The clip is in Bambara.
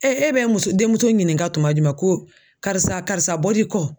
e bɛ muso denmuso ɲininka tuma jumɛn ko karisa karisa bɔli kɔ